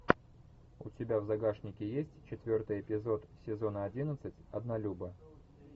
у тебя в загашнике есть четвертый эпизод сезона одиннадцать однолюбы